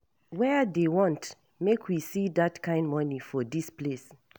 Where dey want make we see dat kin money for dis place